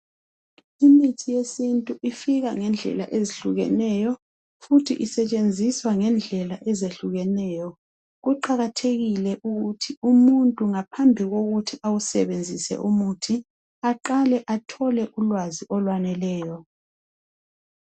Imithi yesintu ifika ngendlela ezihlukeneyo futhi isetshenziswa ngendlela ezehlukeneyo. Kuqakathekile ukuthi umuntu ngaphambili kokuthi awusebenzise umuthi aqale athole ulwazi olufaneleyo.